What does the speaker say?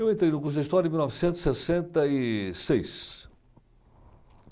Eu entrei no curso de História em mil novecentos e sessenta e seis.